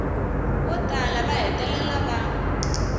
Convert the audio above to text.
vo tala va hetelela va